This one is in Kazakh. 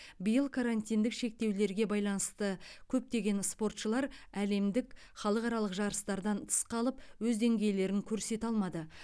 биыл карантиндік шектеулерге байланысты көптеген спортшылар әлемдік халықаралық жарыстардан тыс қалып өз деңгейлерін көрсете алмады